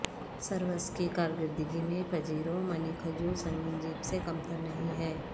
service کی کارکردگی میں پجیرو منی کھجور سنگین جیپ سے کمتر نہیں ہے